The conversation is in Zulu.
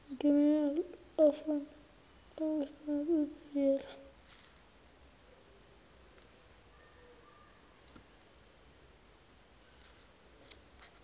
ngeminerali ofuna ukusebenzana